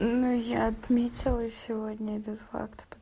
ну я отметила сегодня этот факт п